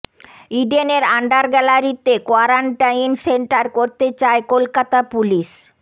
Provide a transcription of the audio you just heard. ইডেনের under গ্যালারিতে quarantine centre করতে চায় কলকাতা পুলিশ